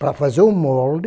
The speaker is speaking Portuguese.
Para fazer o molde,